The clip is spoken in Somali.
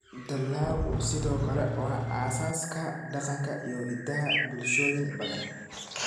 Dalaggu sidoo kale waa aasaaska dhaqanka iyo hiddaha bulshooyin badan.